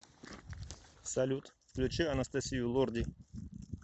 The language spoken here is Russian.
салют включи анастасию лорди